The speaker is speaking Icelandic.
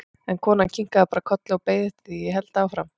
En konan kinkaði bara kolli og beið eftir því að ég héldi áfram.